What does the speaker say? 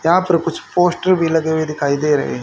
यहां पर कुछ पोस्टर भी लगे हुए दिखाई दे रहे हैं।